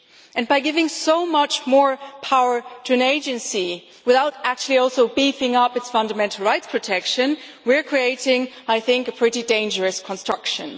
And by giving so much more power to an agency without actually also beefing up its fundamental rights protection, we are creating a pretty dangerous construction.